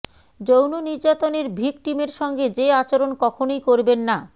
যৌন নির্যাতনের ভিকটিমের সঙ্গে যে আচরণ কখনোই করবেন না